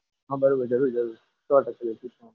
હા બરોબર જરૂર જરૂર સો ટકા જશું.